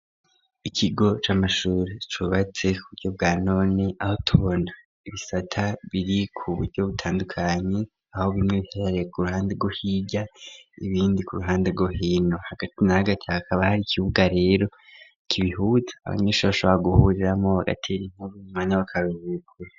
Ikigo c'amashuri cubatse ku buryo bwa none aho tubona ibisata biri ku buryo butandukanyi aho bimwe biherare ku ruhande rwo hirya ibindi ku ruhande rwo hino hagati na hagati hakaba hari ikibuga rero kibihuza abanyeshure bashobora guhuriramo bagatera inkuru mumwanya wakaruhuko.